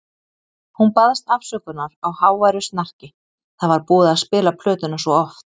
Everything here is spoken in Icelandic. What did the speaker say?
Hún baðst afsökunar á háværu snarki, það var búið að spila plötuna svo oft.